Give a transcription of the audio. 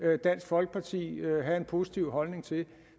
hørt dansk folkeparti have en positiv holdning til